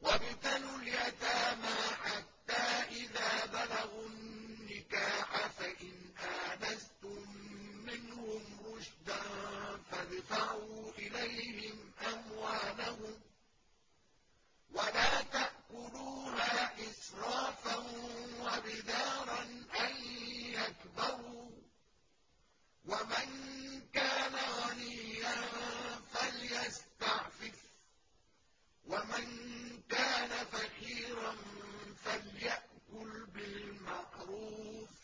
وَابْتَلُوا الْيَتَامَىٰ حَتَّىٰ إِذَا بَلَغُوا النِّكَاحَ فَإِنْ آنَسْتُم مِّنْهُمْ رُشْدًا فَادْفَعُوا إِلَيْهِمْ أَمْوَالَهُمْ ۖ وَلَا تَأْكُلُوهَا إِسْرَافًا وَبِدَارًا أَن يَكْبَرُوا ۚ وَمَن كَانَ غَنِيًّا فَلْيَسْتَعْفِفْ ۖ وَمَن كَانَ فَقِيرًا فَلْيَأْكُلْ بِالْمَعْرُوفِ ۚ